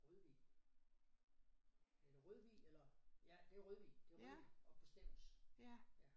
Rødvig eller Rødvig eller ja det Rødvig det Rødvig oppe ved Stevns ja